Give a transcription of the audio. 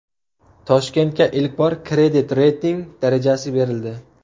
Toshkentga ilk bor kredit reyting darajasi berildi.